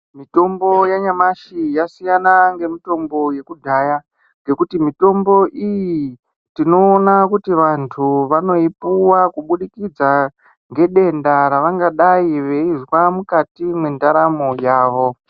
Mitombo yanyamashi yasiyana ngemitombo yokudhaya, ngekuti mitombo iyi, tinoona kuti vantu vanoipuwa kubudikidza ngedenda ravangadai veizwa mukati mwendaramo yavo.